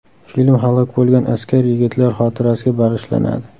Film halok bo‘lgan askar yigitlar xotirasiga bag‘ishlanadi.